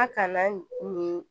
A kana nin